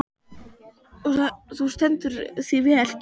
Þú stendur þig vel, Kíran!